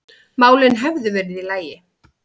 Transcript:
málin hefðu verið í lagi.